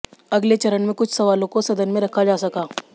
अगले चरण में कुछ सवालों को सदन में रखा जा सका